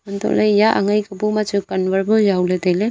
antoh eya angen pe bu ma chu cannwan bu jaw ley tai ley.